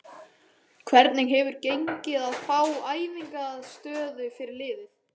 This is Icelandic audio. Hvernig hefur gengið að fá æfingaaðstöðu fyrir liðið?